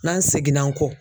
N'an seginn'an kɔ